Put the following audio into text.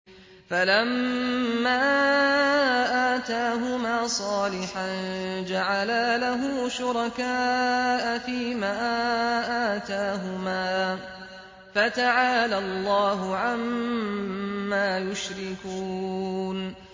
فَلَمَّا آتَاهُمَا صَالِحًا جَعَلَا لَهُ شُرَكَاءَ فِيمَا آتَاهُمَا ۚ فَتَعَالَى اللَّهُ عَمَّا يُشْرِكُونَ